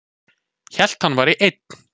Hélt hann væri einn